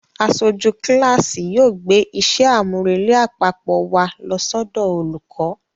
Aṣojú kíláàsì yóò gbé iṣẹ́ àmúrelé àpapọ̀ wa lọ sọ́dọ̀ olùkọ́